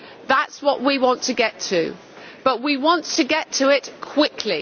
That is what we want to get to, but we want to get to it quickly.